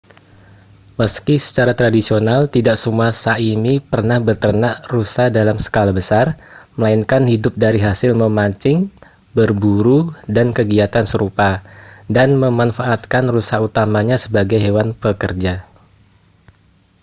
meski secara tradisional tidak semua sã¡mi pernah beternak rusa dalam skala besar melainkan hidup dari hasil memancing berburu dan kegiatan serupa dan memanfaatkan rusa utamanya sebagai hewan pekerja